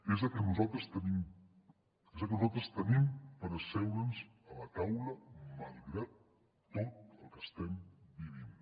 és el que nosaltres tenim és que nosaltres tenim per asseure’ns a la taula malgrat tot el que estem vivint